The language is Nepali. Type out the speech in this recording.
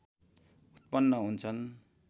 उत्पन्न हुन्छन्